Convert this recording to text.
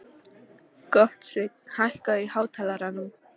Gottsveinn, hækkaðu í hátalaranum.